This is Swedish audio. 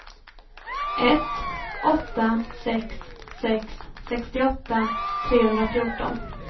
ett åtta sex sex sextioåtta trehundrafjorton